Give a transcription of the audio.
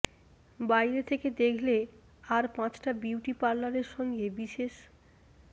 বাইরে থেকে দেখলে আর পাঁচটা বিউটি পার্লারের সঙ্গে বিশেষ